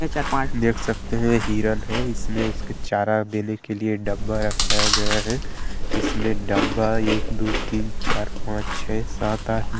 ये चार -पाँच देख सकते हैं हिरण है इसमें उसके चारा देने के लिए डब्बा रखाया गया है इसमें डब्बा एक दो तीन चार पाँच छे सात आठनौ--